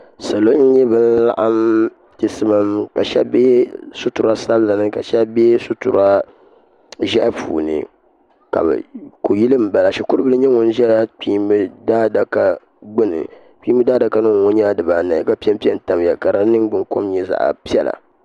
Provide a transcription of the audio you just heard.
Salo n-nyɛ ban laɣim chisimam ka shɛba be suturasabila ni ka shɛba be sutura ʒehi puuni kuyili m-bala shikuribili nyɛ ŋun ʒe kpiimba daadaka gbuni kpiimba daadaka ŋɔ nyɛla dibaanahi ka pempe n-tamya ka di niŋgbunkom nyɛ zaɣapiɛlli